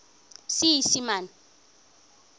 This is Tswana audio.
seesimane